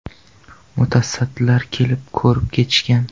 Mutasaddilar kelib ko‘rib ketishgan.